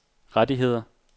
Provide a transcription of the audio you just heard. rettigheder